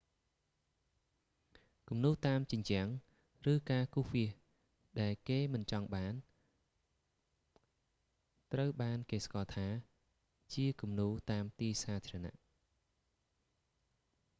គំនូរតាមជញ្ជាំង ឬការគូរវាសដែលគេមិនចង់បានត្រូវបានគេស្គាល់ថា ជាគំនូរតាមទីសាធារណៈ